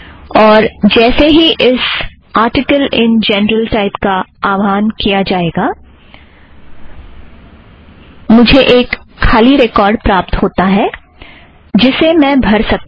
और जैसे ही इस आरटिकल इन जर्नल टाइप का आवाहन किया जाता है मुझे एक खाली रिकॉर्ड़ प्राप्त होता है जिसे मैं भर सकती हूँ